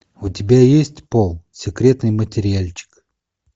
у тебя есть пол секретный материальчик